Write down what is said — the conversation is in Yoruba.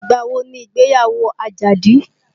Ìgbà wo ni ìgbéyàwó Àjàdí?